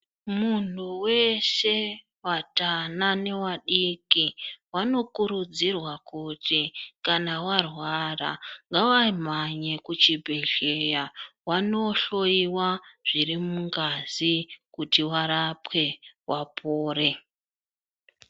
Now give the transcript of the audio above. Muntu weshe atana neadiki vanokurudzirwa kuti kana varwara ngavamhanye kuchibhedhlera vanoohloyiwa zviri mungazi kuti varapwe vapore.